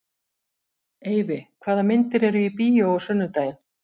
Eyfi, hvaða myndir eru í bíó á sunnudaginn?